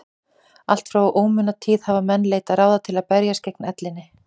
Allt frá ómunatíð hafa menn leitað ráða til að berjast gegn ellinni.